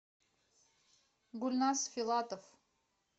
гульназ филатов